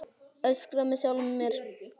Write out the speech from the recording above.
Öskra með sjálfri mér.